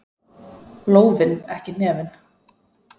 Lófinn, ekki hnefinn.